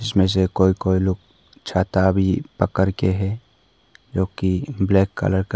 इनमें से कोई कोई लोग छाता भी पकड़ के है जो की ब्लैक कलर का--